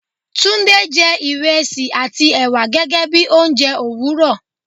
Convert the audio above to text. Tunde jẹ́ ìrẹsì àti ẹ̀wà gẹ́gẹ́ bí oúnjẹ òwúrò